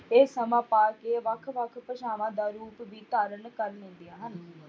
ਇਹ ਸਮਾਂ ਪਾ ਕੇ ਵੱਖ ਵੱਖ ਭਾਸ਼ਾਵਾਂ ਦਾ ਰੂਪ ਵੀ ਧਾਰਨ ਕਰ ਲੈਂਦੀਆਂ ਹਨ।